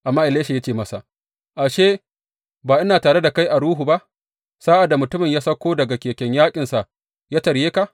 Amma Elisha ya ce masa, Ashe, ba ina tare da kai a ruhu ba sa’ad da mutumin ya sauko daga keken yaƙinsa ya tarye ka.